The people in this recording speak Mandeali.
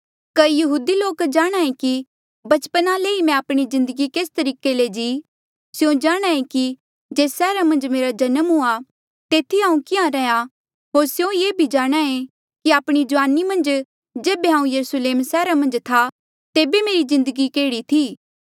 कई यहूदी लोक जाणहां ऐें कि बचपना ले ई मैं आपणी जिन्दगी केस तरीके ले जी स्यों जाणहां ऐें कि जेस सैहरा मन्झ मेरा जन्म हुआ तेथी हांऊँ किहाँ रैहया होर स्यों ये भी जाणहां ऐें कि आपणी जुआनी मन्झ जेबे हांऊँ यरुस्लेम सैहरा मन्झ था तेबे मेरी जिन्दगी केह्ड़ी थी